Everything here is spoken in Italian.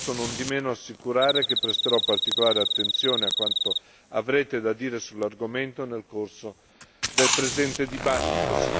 Posso nondimeno assicurare che presterò particolare attenzione a quanto avrete da dire sull'argomento nel corso del presente dibattito.